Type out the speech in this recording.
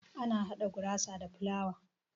Ana hada gurasa da filawa.